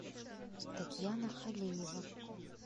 татьяна халеева